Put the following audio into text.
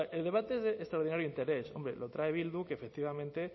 sea el debate es de extraordinario interés hombre lo trae bildu que efectivamente